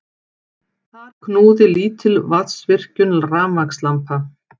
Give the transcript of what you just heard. Þar knúði lítil vatnsvirkjun rafmagnslampa.